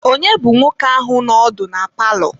Ònye bụ nwoke ahụ nọ ọdụ na palọ?